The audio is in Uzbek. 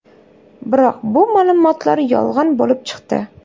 Biroq bu ma’lumotlar yolg‘on bo‘lib chiqdi.